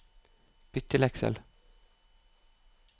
Bytt til Excel